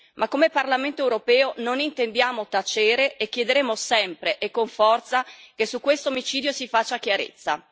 Ma come Parlamento europeo non intendiamo tacere e chiederemo sempre e con forza che su questo omicidio si faccia chiarezza.